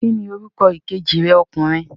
Ki ni orúkọ ìkejì rẹ ọkùnrin?